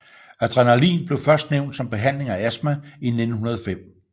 Adrenalin blev først nævnt som behandling af astma i 1905